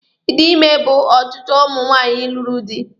Ịdị ime bụ ọchịchọ ụmụ nwaanyị lụrụ di.